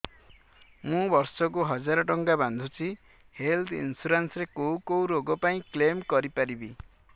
ମୁଁ ବର୍ଷ କୁ ହଜାର ଟଙ୍କା ବାନ୍ଧୁଛି ହେଲ୍ଥ ଇନ୍ସୁରାନ୍ସ ରେ କୋଉ କୋଉ ରୋଗ ପାଇଁ କ୍ଳେମ କରିପାରିବି